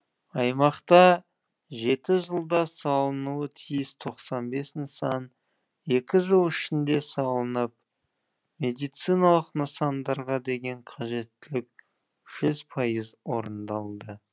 аймақта жеті жылда салынуы тиіс тоқсан бес нысан екі жыл ішінде салынып медициналық нысандарға деген қажеттілік жүз пайыз орындалды